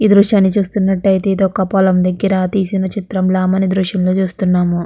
ఈ దృశ్యాన్ని చూస్తునట్టయితే ఇదొక పొలం దగ్గర తీసిన చిత్రం లా మనం ఈ దృశ్యం లో చూస్తున్నాము.